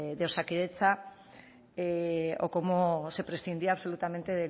de osakidetza o cómo se prescindía absolutamente